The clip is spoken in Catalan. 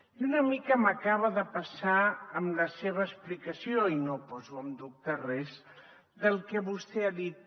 i una mica m’acaba de passar amb la seva explicació i no poso en dubte res del que vostè ha dit